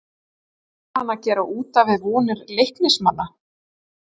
ER HANN AÐ GERA ÚT AF VIÐ VONIR LEIKNISMANNA???